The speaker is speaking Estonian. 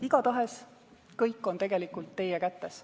Igatahes, kõik on tegelikult teie kätes.